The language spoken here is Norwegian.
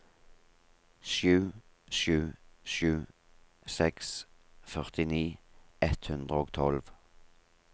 sju sju sju seks førtini ett hundre og tolv